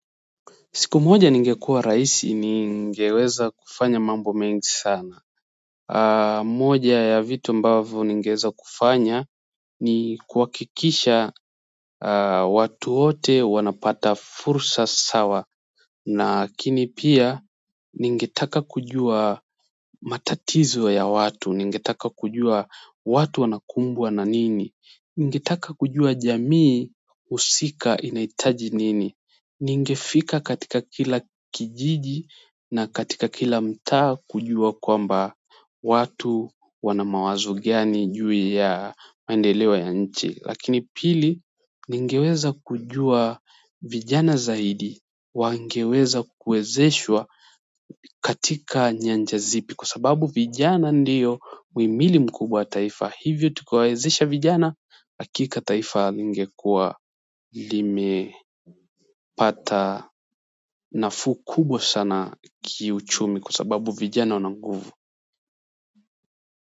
Siku moja ningekuwa rais ningeweza kufanya mambo mengi sana. Moja ya vitu ambavo ningeeza kufanya ni kuhakikisha watu wote wanapata fursa sawa. Nakini pia ningetaka kujua matatizo ya watu. Ningetaka kujua watu wanakumbwa na nini. Ningetaka kujua jamii usika inaitaji nini. Ningefika katika kila kijiji na katika kila mtaa kujua kwamba watu wana mawazo gani juu ya maendeleo ya nchi. Lakini pili ningeweza kujua vijana zaidi wangeweza kuwezeshwa katika nyanja zipi kwa sababu vijana ndiyo uimili mkubwa wa taifa. Hivyo tukiwaezesha vijana hakika taifa lingekuwa lime pata nafuu kubwa sana kiuchumi kwa sababu vijana wana nguvu.